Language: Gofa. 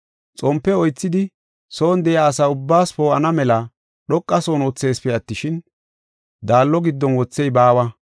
Xompe oythidi son de7iya asa ubbaas poo7ana mela dhoqa son wotheesipe attishin, daallo giddon wothey baawa.